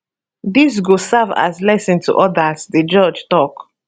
dis go serve as lesson to odas di judge tok